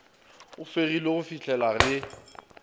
fegilwe go fih lela ge